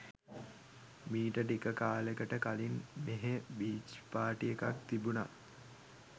මීට ටික කාලෙකට කලින් මෙහෙ බීච් පාර්ටි එකක් තිබුණා.